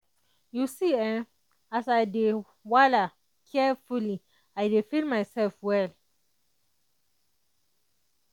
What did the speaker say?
you see[um]as i dey wala carefully i dey feel myself well